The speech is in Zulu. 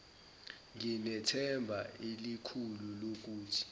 nginethemba elikhulu lokuthi